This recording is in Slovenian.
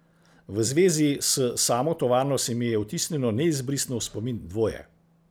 V zvezi s samo tovarno se mi je vtisnilo neizbrisno v spomin dvoje.